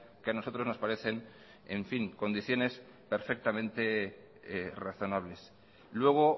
que a nosotros nos parecen en fin condiciones perfectamente razonables luego